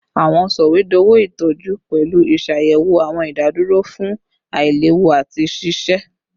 Awọn sọwedowo itọju pẹlu iṣayẹwo awọn idaduro fun ailewu ati ṣiṣe